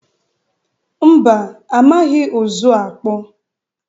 mba amaghị ụzụ akpụ.